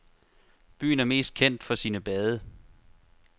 Byen er mest kendt for sine bade.